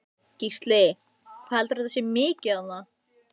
Gísli: Hvað heldurðu að þetta sé mikið þarna?